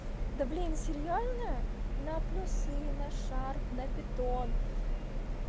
да блин серьёзно на плюс и на шарп на питон